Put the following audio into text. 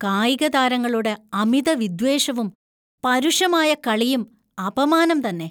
കായികതാരങ്ങളുടെ അമിതവിദ്വേഷവും, പരുഷമായ കളിയും അപമാനം തന്നെ.